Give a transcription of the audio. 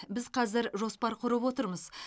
біз қазір жоспар құрып отырмыз